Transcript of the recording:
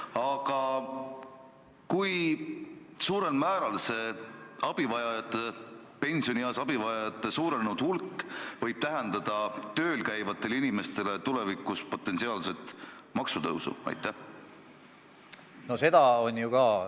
Aga kui suurel määral see pensionieas abi vajajate kasvanud hulk võib tähendada tööl käivatele inimestele tulevikus maksutõusu?